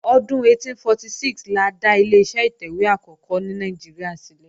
Ọdún 1846 la dá Ileṣẹ́ ìtẹ̀wé àkọ́kọ́ ní Nàìjíríà ṣílẹ̀